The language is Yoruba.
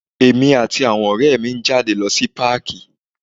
Èmi àti àwọn ọrẹ mi ń jáde lọ sí páàkí.